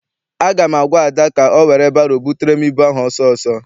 Aga m agwa Ada ka ọ were baro butere m ịbụ ahụ ọsọ ọsọ!